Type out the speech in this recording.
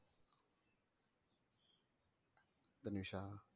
தனுஷா